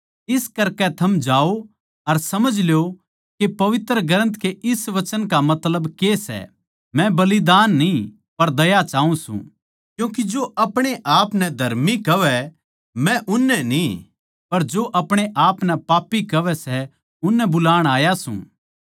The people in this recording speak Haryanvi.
इस करकै थम जाओ अर समझ ल्यो के पवित्र ग्रन्थ के इस वचन का मतलब के सै मै बलिदान न्ही पर दया चाऊँ सूं क्यूँके जो अपणेआपनै धर्मी कहवै मै उननै न्ही पर जो अपणेआपनै पापी कहवै सै उननै बुलाण आया सूं